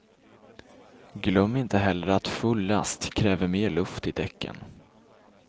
Glöm inte heller att full last kräver mer luft däcken.